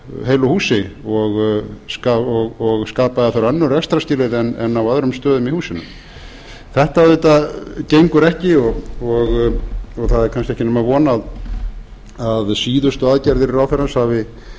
heilu húsi og skapaði þar önnur rekstrarskilyrði en á öðrum stöðum í húsinu þetta gengur ekki og það er kannski ekki nema von að síðustu aðgerðir ráðherrans